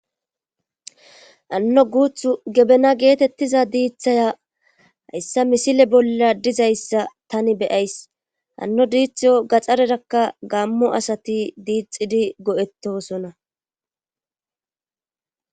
anno guuthu gebena geetettiza diithaya hayssa misile bolla dizayssa tani beyays hanno diitho gaxxarerakka gammo asati diixidi go7ettosona